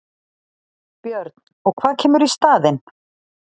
Björn: Og hvað kemur í staðinn?